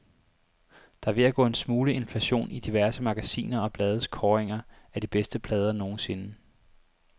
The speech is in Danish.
Der er ved at gå en smule inflation i diverse magasiner og blades kåringer af de bedste plader nogensinde.